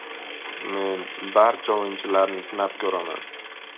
Men barcha o‘yinchilarni sinab ko‘raman.